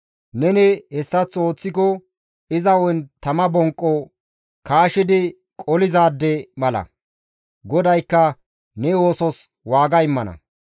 Neni hessaththo ooththiko iza hu7en tama bonqo kaashidi qolizaade mala. GODAYKKA ne oosos waaga immana.